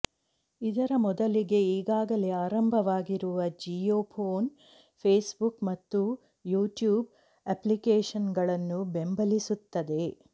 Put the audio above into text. ಇದರ ಮೊದಲಿಗೆ ಈಗಾಗಲೇ ಆರಂಭವಾಗಿರುವ ಜಿಯೋಫೋನ್ ಫೇಸ್ಬುಕ್ ಮತ್ತು ಯೂಟ್ಯೂಬ್ ಅಪ್ಲಿಕೇಶನ್ಗಳನ್ನು ಬೆಂಬಲಿಸುತ್ತದೆ